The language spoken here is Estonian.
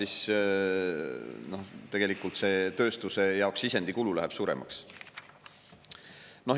Aga tegelikult tööstuse jaoks sisendikulu läheb suuremaks.